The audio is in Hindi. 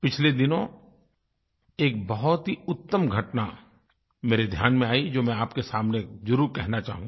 पिछले दिनों एक बहुत ही उत्तम घटना मेरे ध्यान में आई जो मैं आपके सामने ज़रूर कहना चाहूँगा